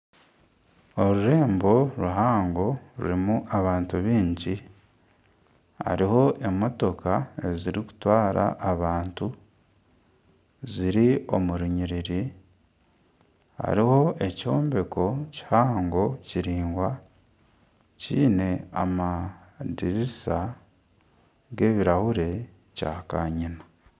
Orurembo ruhango rurimu abantu baingi, hariho emotoka eziri kutwara abantu ziri omu orunyiriri. Hariho ekyombeko kihango kiringwa, kiine amadirisa g'ebirahure kya kanyina.